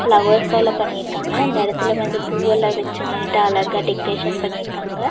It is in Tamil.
பிளவர்ஸ் ஆல பண்ணிருக்காங்க அந்த எடத்துல வந்து பூவெல்லாம் வச்சு நீட்டா அழகா டெக்கரேஷன் பண்ணிருக்காங்க.